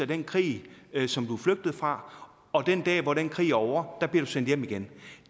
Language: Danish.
den krig som du er flygtet fra og den dag hvor den krig er ovre bliver du sendt hjem igen